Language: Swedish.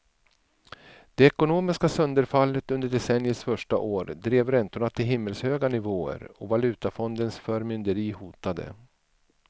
Det ekonomiska sönderfallet under decenniets första år drev räntorna till himmelshöga nivåer och valutafondens förmynderi hotade.